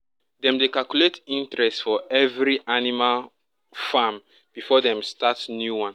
dem dey calculate interest for every animal farm before dem start new one